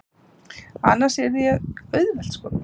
Annars yrði ég auðvelt skotmark.